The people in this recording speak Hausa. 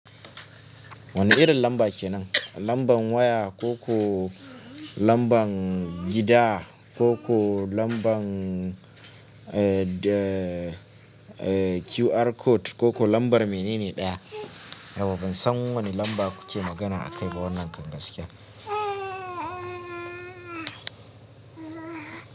Wane irin lamba kenan? Lamban waya ko ko lamban gida ko ko lamban, eh, QR code ko ko lambar menene ɗaya? Yauwa ban san wane lamba kuke magana akai ba wannan kam gaskiya.